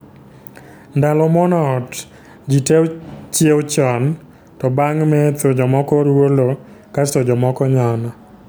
Ndalo muono ot, ji te chiew chon to bang' metho jomoko ruo lo kasto jomoko nyono